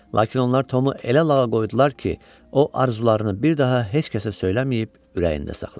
Lakin onlar Tomu elə lağa qoydular ki, o arzularını bir daha heç kəsə söyləməyib, ürəyində saxladı.